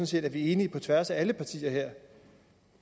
set at vi er enige på tværs af alle partier her